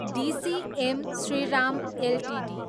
DCM Shriram Ltd